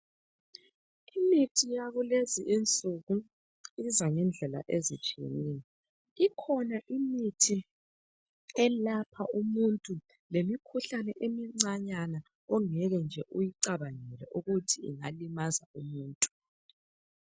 Imithi yakulezinsuku iyenza ngendlela izitshyeneyo. Ikhona imithi elapha umuntu lemikhuhlane emicanyana ongekenje oyicabangele ukuthi ingalimaza umuntu.